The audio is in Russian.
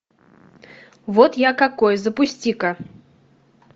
вот я какой запусти ка